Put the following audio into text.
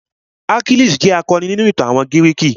Achilles jẹ́ akọni ni ìtàn àwọn gírìkì.